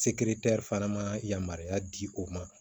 fana ma yamaruya di u ma